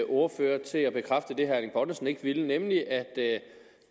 ordfører til at bekræfte det herre erling bonnesen ikke ville nemlig at det